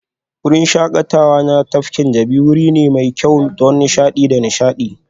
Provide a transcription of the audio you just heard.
Wurin shakatawa na tafkin Jabi wuri ne mai kyau don nishaɗi da nishaɗi